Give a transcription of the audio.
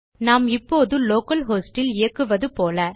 நாம் இப்போது localhost இல் இயக்குவது போல